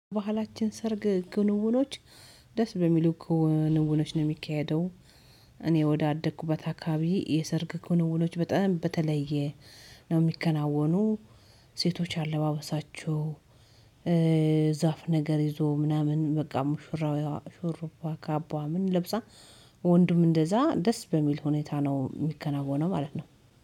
ባህላችን ሰርግ ክንውኖች ደስ በሚሉ ክንውኖች ነው የሚካሄደው። እኔ ወደ አደኩበት አካባቢ የሰርግ ክንውኖች በጣም በተለየ ነው የሚከናወኑ። ሴቶች አለባበሳችሁ ዛፍ ነገር ይዞ ምናምን በቃ ሙሽራው ሹሩባ ካባ ምን ለብሳ። ወንድም እንደዛ ደስ በሚል ሁኔታ ነው የሚከናወነው ማለት ነው